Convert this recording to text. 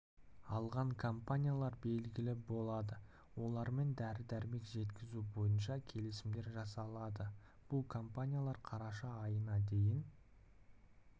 алған компаниялар белгілі болады олармен дәрі-дәрмек жеткізу бойынша келісімдер жасалады бұл компаниялар қараша айына дейін